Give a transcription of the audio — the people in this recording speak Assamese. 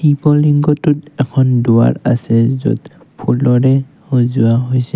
শিৱ লিংগটোত এখন দুৱাৰ আছে যত ফুলৰে সজোৱা হৈছে।